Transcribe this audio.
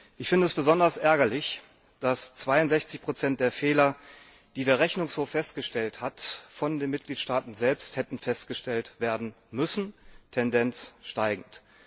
Ich finde es besonders ärgerlich, dass 62 der Fehler, die der Rechnungshof festgestellt hat, von den Mitgliedstaaten selbst hätten festgestellt werden müssen Tendenz steigend.